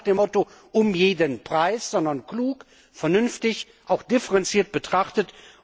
Aber nicht nach dem Motto Um jeden Preis, sondern klug, vernünftig, auch differenziert betrachtet.